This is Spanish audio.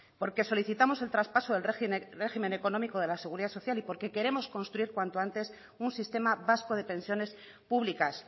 porque solicitamos el traspaso del régimen económico de la seguridad social y porque queremos construir cuanto antes un sistema vasco de pensiones públicas